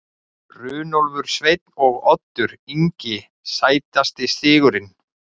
Runólfur Sveinn og Oddur Ingi Sætasti sigurinn?